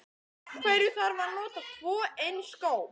Af hverju þarf að nota tvo eins skó?